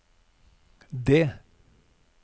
det